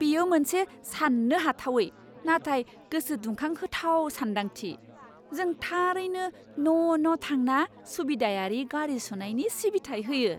बेयो मोनसे सान्नो हाथावै, नाथाय गोसो दुंखांहोथाव सानदांथि! जों थारैनो न' न' थांना सुबिदायारि गारि सुनायनि सिबिथाइ होयो!